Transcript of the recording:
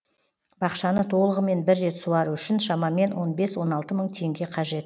бақшаны толығымен бір рет суару үшін шамамен он бес он алты мың теңге қажет